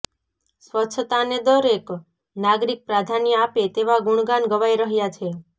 સ્વચ્છતાને દરેક નાગરિક પ્રાધાન્ય આપે તેવા ગુણગાન ગવાઇ રહ્યા છે